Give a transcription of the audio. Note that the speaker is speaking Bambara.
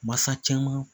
Masa caman